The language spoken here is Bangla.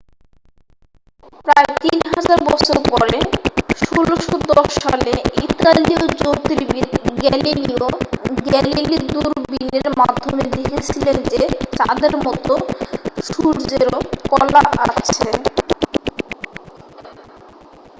প্রায় তিন হাজার বছর পরে 1610 সালে ইতালীয় জ্যোতির্বিদ গ্যালিলিও গ্যালিলি দূরবীনের মাধ্যমে দেখেছিলেন যে চাঁদের মতো সূর্যেরও কলা আছে